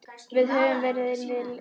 Við höfum verið vinir lengi.